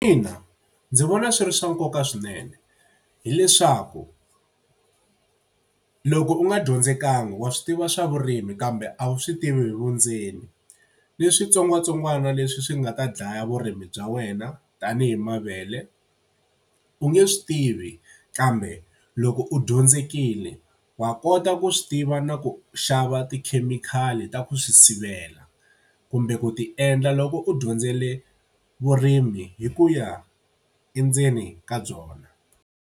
Ina ndzi vona swi ri swa nkoka swinene hileswaku loko u nga dyondzekanga wa swi tiva swa vurimi kambe a wu swi tivi hi vundzeni. Ni switsongwatsongwana leswi swi nga ta dlaya vurimi bya wena tanihi mavele u nge swi tivi. Kambe loko u dyondzekile wa kota ku swi tiva na ku xava tikhemikhali ta ku swi sivela, kumbe ku ti endla loko u dyondzile vurimi hi ku ya endzeni ka byona.